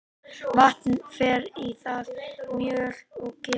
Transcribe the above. Vatn fer í það, mjöl og ger.